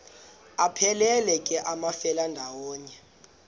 aphelela ke amafelandawonye